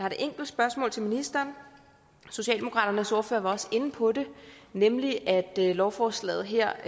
et enkelt spørgsmål til ministeren socialdemokratiets ordfører var også inde på det nemlig at lovforslaget her